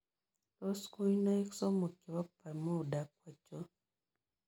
Tos' kuinoiik somok che po bermuda ko achon